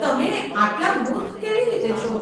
તમે આટલા મૂર્ખ કેવી રીતે છો?